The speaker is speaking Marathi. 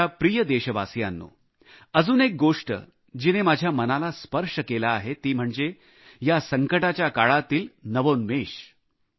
माझ्या प्रिय देशवासियांनो अजून एक गोष्ट जिने माझ्या मनाला स्पर्श केला आहे ती म्हणजे या संकटाच्या काळातील नवोन्मेश